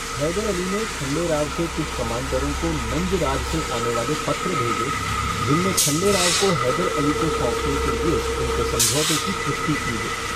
हैदर अली ने खँडे राव के कुछ कमांडरों को नंजराज से आने वाले पत्र भेजे, जिनमे खँडे राव को हैदर अली को सौंपने के लिए उनके समझौते की पुष्टि की गई।